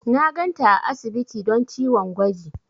Na ganta a asibiti don ciwon gwaji.